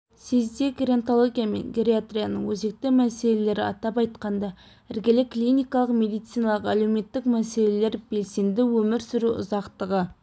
съезде геронтология мен гериатрияның өзекті мәселелері атап айтқанда іргелі клиникалық медициналық-әлеуметтік мәселелер белсенді өмір сүру ұзақтығы